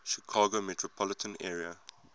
chicago metropolitan area